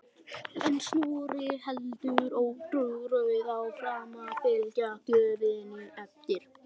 En Snorri heldur ótrauður áfram að fylgja gjöfinni eftir.